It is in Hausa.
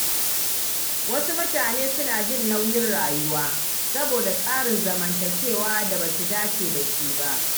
Wasu mutane suna jin nauyin rayuwa saboda tsarin zamantakewa da ba su dace da shi ba.